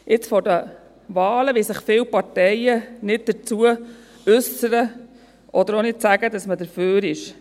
– Jetzt, vor den Wahlen, wollen sich viele Parteien nicht dazu äussern oder auch nicht sagen, dass sie dafür sind.